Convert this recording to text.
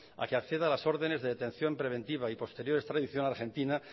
a que acceda a las ordenes de detención preventiva y posterior extradición a argentina